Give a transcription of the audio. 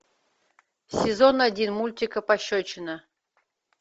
сезон один мультика пощечина